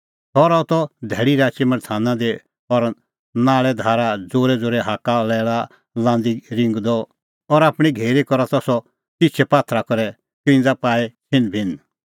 सह रहा त धैल़ी राची मल्थाना दी और नाल़ैधारा ज़ोरैज़ोरै हाक्का लैल़ा लांदी रिंगदअ और आपणीं घेरी करा त सह तिछै पात्थरा करै क्रिंज़ा पाई छ़िन्ह बिन्ह